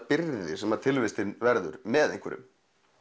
byrði sem tilvistin verður með einhverjum